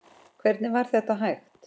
Hvernig var þetta hægt?